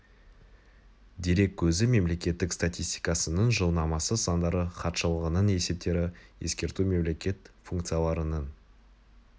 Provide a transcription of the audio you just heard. дерек көзі мемлекеттік статистикасының жылнамасы сандары хатшылығының есептері ескерту мемлекет функцияларының